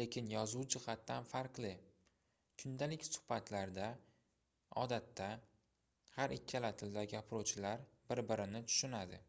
lekin yozuv jihatidan farqli kundalik suhbatlarda odatda har ikkala tilda gapiruvchilar bir-birini tushunadi